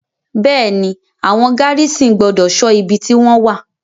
Bẹ́è ni, àwọn gárísìn gbọ́dọ̀ ṣọ ibi tí wọ́n wà.